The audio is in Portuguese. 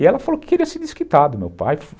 E ela falou que queria ser desquitada do meu pai.